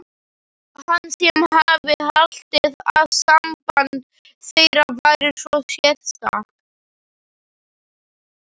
Hann sem hafði haldið að samband þeirra væri svo sérstakt.